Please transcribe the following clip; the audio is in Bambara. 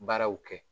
Baaraw kɛ